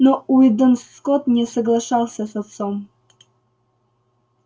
но уидон скотт не соглашался с отцом